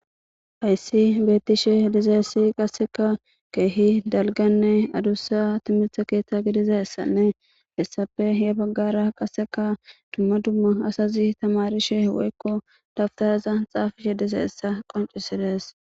Hayssi beeththishee dizayssi qassikka keehi dalgganne adussa thimirththe keeththa gidizaassanne hessappe ya baggaara qassikka dumma dumma asazi thamaarishe woykko dabththarazan tsaafishee dizayssa qonccisse dees.